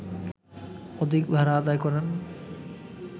অধিক ভাড়া আদায় করেন